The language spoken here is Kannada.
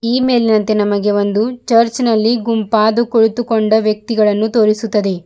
ಈ ಮೇಲಿನಂತೆ ನಮಗೆ ಒಂದು ಚರ್ಚಿನಲ್ಲಿ ಗುಂಪಾದು ಕುಳಿತುಕೊಂಡ ವ್ಯಕ್ತಿಗಳನ್ನು ತೋರಿಸುತ್ತದೆ.